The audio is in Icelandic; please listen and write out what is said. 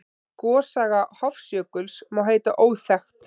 Gossaga Hofsjökuls má heita óþekkt.